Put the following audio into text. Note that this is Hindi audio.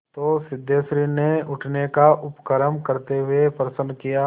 तो सिद्धेश्वरी ने उठने का उपक्रम करते हुए प्रश्न किया